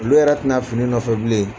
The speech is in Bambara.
Olu yɛrɛ tɛna fini nɔfɛ bilen